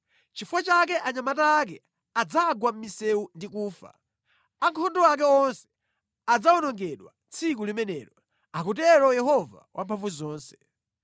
Nʼchifukwa chake anyamata ake adzagwa mʼmisewu ndi kufa; ankhondo ake onse adzawonongedwa tsiku limenelo,” akutero Yehova Wamphamvuzonse.